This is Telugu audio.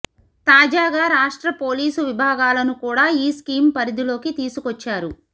తాజాగా రాష్ట్ర పోలీసు విభాగాలను కూడా ఈ స్కీమ్ పరిధిలోకి తీసుకొచ్చారు